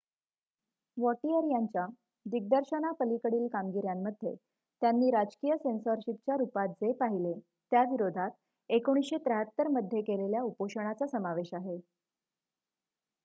Vautier यांच्या दिग्दर्शनापलीकडील कामगिऱ्यांमध्ये त्यांनी राजकीय सेन्सॉरशिपच्या रुपात जे पाहिले त्याविरोधात १९७३ मध्ये केलेल्या उपोषणाचा समावेश आहे